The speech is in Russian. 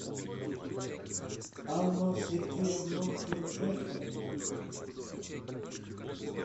анну сергеевну шульженко